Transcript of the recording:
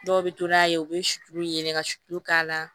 Dɔw bɛ to n'a ye u bɛ suturu yɛlɛ ka sulu k'a la